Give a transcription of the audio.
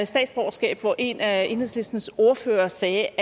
statsborgerskab hvor en af enhedslistens ordførere sagde